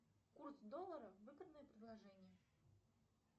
курс доллара выгодное предложение